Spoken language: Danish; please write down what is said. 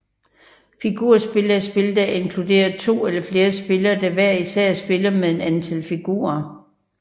Figurspil er spil der inkluderer to eller flere spillere der hver især spiller med et antal figurer